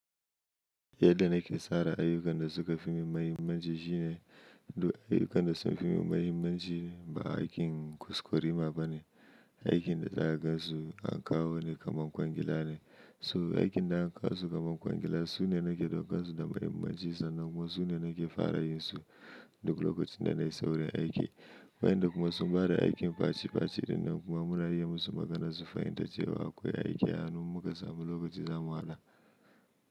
Yadda nake tsara ayyukan da suka fi min mahimmanci shine, duk ayyukan da sun fi min mahimmanci ba aikin kwaskwarima bane. Aikin da za a gansu an kawo ne kamar kwangila ne. So aikin da an kawo su kamar kwangila sune na ke daukan su da mahimmanci sannan kuma su ne na ke fara yin su. Duk lokacin da na yi saurin aiki wa'inda kuma sumba da aikin faci faci dinnan kuma muna iya musu magana su fahimta cewa akwai aikin a hannun mu in muka samu lokaci za mu haɗa.